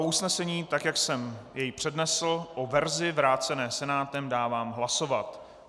O usnesení, tak, jak jsem je přednesl, o verzi vrácené Senátem, dávám hlasovat.